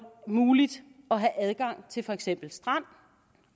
muligt at have adgang til for eksempel strand